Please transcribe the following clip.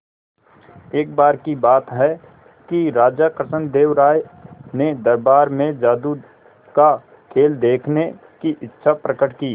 एक बार की बात है कि राजा कृष्णदेव राय ने दरबार में जादू का खेल देखने की इच्छा प्रकट की